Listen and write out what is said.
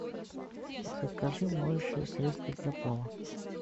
закажи моющее средство для пола